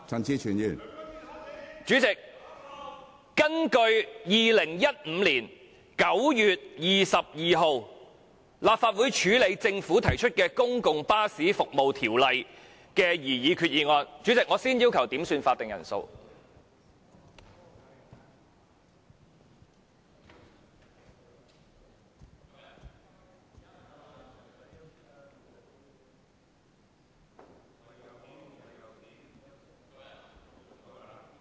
主席，政府就2015年9月22日根據《公共巴士服務條例》所作決定提出兩項擬議決議案......主席，我先要求點算法定人數。